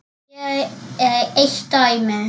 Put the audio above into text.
Hér er eitt dæmi.